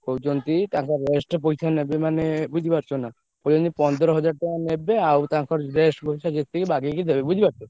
କହୁଛନ୍ତି ତାଙ୍କ rest ପଇସା ନେବେ ମାନେ ବୁଝି ପାରୁଚ୍ଛ ନା। କହୁଛନ୍ତିପନ୍ଦର୍ ହାଜ଼ାର୍ ଟଙ୍କା ନେବେ ଆଉ ତାଙ୍କର rest ପଇସା ଯେତିକି ବାଗେଇକି ଦେବେ ବୁଝି ପାରୁଚ୍ଛ।